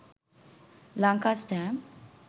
lanka stamp